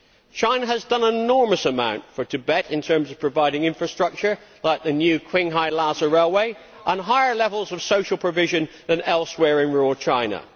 China has done an enormous amount for Tibet in terms of providing infrastructure, like the new Qinghai Lhasa railway, and higher levels of social provision than elsewhere in rural China.